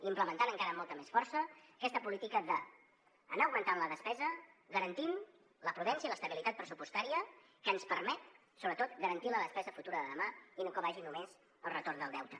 implementant encara amb molta més força aquesta política d’anar augmentant la despesa garantint la prudència i l’estabilitat pressupostària que ens permet sobretot garantir la despesa futura de demà i no que vagi només al retorn del deute